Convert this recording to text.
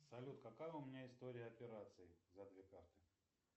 салют какая у меня история операций за две карты